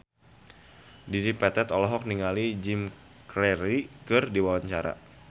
Dedi Petet olohok ningali Jim Carey keur diwawancara